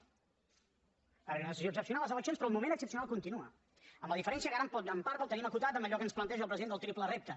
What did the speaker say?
va haver hi una decisió excepcional les eleccions però el moment excepcional continua amb la diferència que ara en part el tenim acotat a allò que ens planteja el president del triple repte